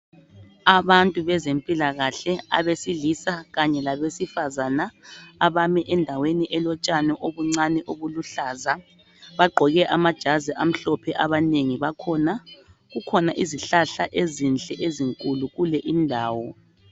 abantu bezempilakahle abesilisa kanye labe sifazana abami endaweni elotshani obuncane obuluhlaza bagqoke amajazi amhlophe abanengi bakhona kukhona izihlahla ezinhle ezinkulu kule indawo